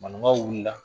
Maninkaw wuli la